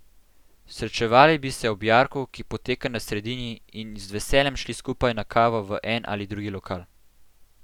Srečevali bi se ob jarku, ki poteka na sredini, in z veseljem šli skupaj na kavo v en ali drugi lokal.